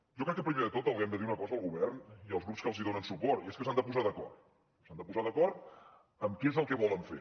jo crec que primer de tot els hem de dir una cosa al govern i als grups que els donen suport i és que s’han de posar d’acord s’han de posar d’acord en què és el que volen fer